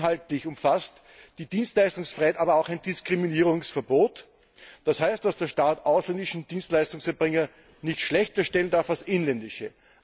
Inhaltlich umfasst die Dienstleistungsfreiheit aber auch ein Diskriminierungsverbot, das heißt, dass der Staat ausländische Dienstleistungserbringer nicht schlechterstellen darf als inländische.